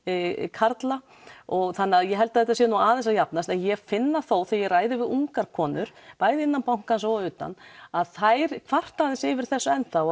karla þannig að ég held að þetta sé nú aðeins að jafnast en ég finn það þó þegar ég ræði við ungar konur bæði innan bankans og utan að þær kvarta aðeins yfir þessu ennþá